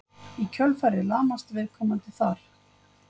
Í kjölfarið lamast viðkomandi þar.